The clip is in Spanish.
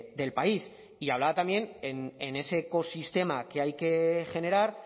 del país y hablaba también en ese ecosistema que hay que generar